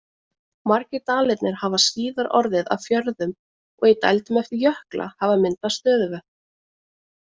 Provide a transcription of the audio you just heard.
Margir dalirnir hafa síðar orðið að fjörðum og í dældum eftir jökla hafa myndast stöðuvötn.